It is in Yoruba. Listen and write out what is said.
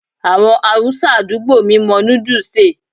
Àwọn Haúsá àdúgbò mi mọ núdù ṣe è.